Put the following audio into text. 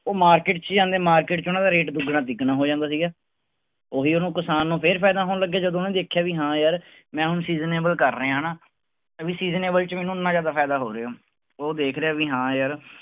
ਉਹ market ਚ ਜਾਂਦੇ market ਚ ਉਹਨਾਂ ਦਾ rate ਦੁੱਗਣਾ ਤਿਗਣਾ ਹੋ ਜਾਂਦਾ ਸੀਗਾ, ਉਹੀ ਉਹਨੂੰ ਕਿਸਾਨ ਨੂੰ ਫਿਰ ਫ਼ਾਇਦਾ ਹੋਣ ਲੱਗਿਆ ਜਦੋਂ ਉਹਨੇ ਦੇਖਿਆ ਵੀ ਹਾਂ ਯਾਰ ਮੈਂ ਹੁਣ seasonable ਕਰ ਰਿਹਾਂ ਹਨਾ ਵੀ seasonable ਚ ਮੈਨੂੰ ਇੰਨਾ ਜ਼ਿਆਦਾ ਫ਼ਾਇਦਾ ਹੋ ਰਿਹਾ, ਉਹ ਦੇਖ ਰਿਹਾ ਵੀ ਹਾਂ ਯਾਰ